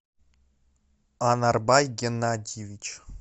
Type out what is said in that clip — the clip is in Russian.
анарбай геннадьевич